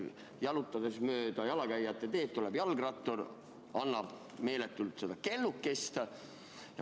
Jalutades mööda jalakäijate teed, tuleb jalgrattur ja helistab meeletult kellukest.